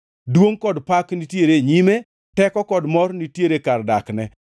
Duongʼ kod pak nitiere e nyime; teko kod mor nitiere kar dakne.